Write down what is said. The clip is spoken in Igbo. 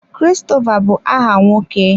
Christopher bu aha nwoke.